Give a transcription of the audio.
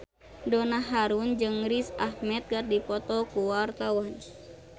Donna Harun jeung Riz Ahmed keur dipoto ku wartawan